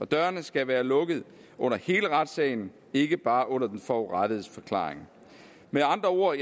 dørene skal være lukkede under hele retssagen ikke bare under den forurettedes forklaring med andre ord